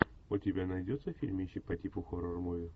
у тебя найдется фильмище по типу хоррор муви